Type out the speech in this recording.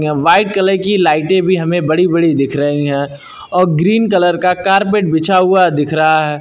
White colour की लाइटें भी हमें बड़ी बड़ी दिख रही हैं और ग्रीन कलर का कारपेट बिछा हुआ दिख रहा है।